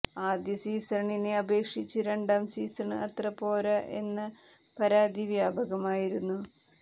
ആദ്യ സീസണിനെ അപേക്ഷിച്ച് രണ്ടാം സീസണ് അത്ര പോര എന്ന പരാതി വ്യാപകമായിരുന്നു